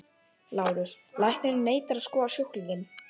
LÁRUS: Læknirinn neitar að skoða sjúklinginn.